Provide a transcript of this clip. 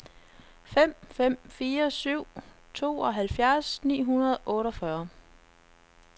fem fem fire syv tooghalvfjerds ni hundrede og otteogfyrre